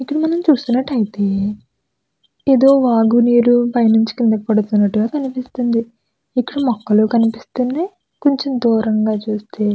ఇక్కడ నమనం చూస్తునట్టయితే ఏదో వాగు నీరు పై నించి కిందకి పడుతునట్టు కనిపిస్తుంది ఇక్కడ మొక్కలు కనిపిస్తున్నాయ్ కొంచెం దూరంగా చూస్తే --